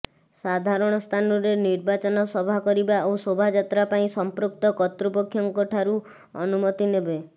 ସାଧାରଣ ସ୍ଥାନରେ ନିର୍ବାଚନ ସଭା କରିବା ଓ ଶୋଭାଯାତ୍ରା ପାଇଁ ସମ୍ପୃକ୍ତ କର୍ତ୍ତୃପକ୍ଷଙ୍କଠାରୁ ଅନୁମତି ନେବେ